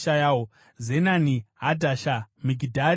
Zenani, Hadhasha, Migidhari Gadhi,